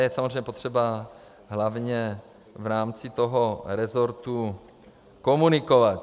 Je samozřejmě potřeba hlavně v rámci toho resortu komunikovat.